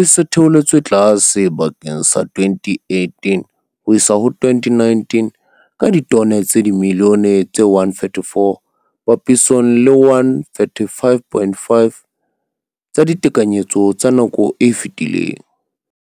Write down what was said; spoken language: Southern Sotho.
e se e theoletswe tlase bakeng sa 2018-2019, ka ditone tsa dimilione tse 134 papisong le 135, 5 tsa ditekanyetso tsa nako e fetileng.